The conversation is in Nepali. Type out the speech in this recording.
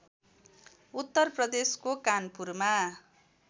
उत्तर प्रदेशको कानपुरमा